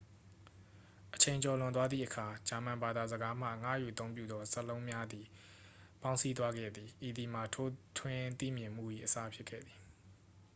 အချိန်ကျော်လွန်သွားသည့်အခါ ဂျာမန်ဘာသာစကားမှ ငှားယူအသုံးပြုသော စကားလုံးများစွာသည် ပေါင်းစည်းသွားခဲ့သည် ဤသည်မှာ ထိုးထွင်းသိမြင်မှု၏ အစဖြစ်ခဲ့သည်